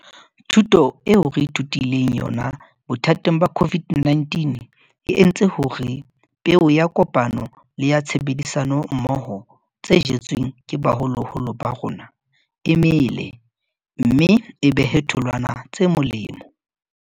Thuto eo re ithutileng yona bothateng ba COVID-19 e entse hore peo ya kopano le ya tshebedisano mmoho tse jetsweng ke baholoholo ba rona e mele mme e behe tholwana tse molemo.